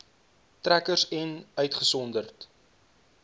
trekkers ens uitgesonderd